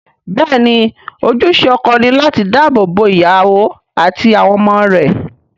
Bẹ́ẹ̀ ni, ojúṣe ọkọ ni láti dáàbò bo ìyàwó àti àwọn ọmọ rẹ̀